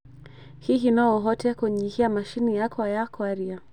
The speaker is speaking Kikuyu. Hihi no ũhote kũnyihia macini yakwa ya kwaria?